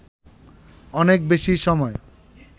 অনেক বেশি সময়